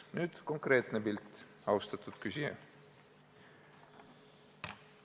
Nüüd konkreetne näide, austatud küsija.